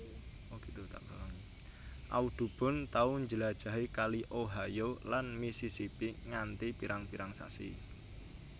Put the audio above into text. Audubon tau njlajahi kali Ohio lan Missisipi nganti pirang pirang sasi